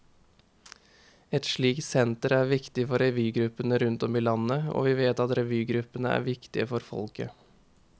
Et slikt senter er viktig for revygruppene rundt om i landet, og vi vet at revygruppene er viktige for folket.